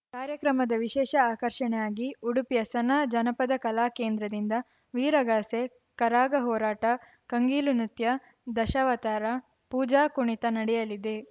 ಕಾರ್ಯಕ್ರಮದ ವಿಶೇಷ ಆಕರ್ಷಣೆಯಾಗಿ ಉಡುಪಿಯ ಸನಾ ಜನಪದ ಕಲಾ ಕೇಂದ್ರದ ದಿಂದ ವೀರಗಾಸೆ ಕರಗಾ ಹೋರಾಟ ಕಂಗೀಲು ನೃತ್ಯ ದಶಾವತಾರ ಪೂಜಾ ಕುಣಿತ ನಡೆಯಲಿದೆ